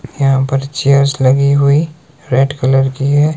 यहां पर चेयर्स लगी हुई रेड कलर की है।